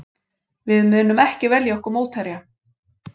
Við munum ekki velja okkur mótherja